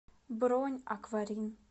бронь акварин